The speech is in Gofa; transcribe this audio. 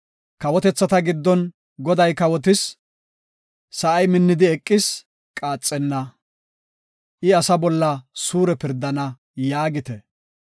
Kawotethata giddon, “Goday kawotis! Sa7ay minnidi eqis; qaaxenna; I asaa bolla suure pirdana” yaagite.